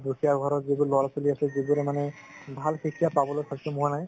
দুখীয়া ঘৰত যিবোৰ লৰা ছোৱালি আছে যিবোৰৰ মানে ভাল শিক্ষা পাবলৈ সক্ষম হুৱা নাই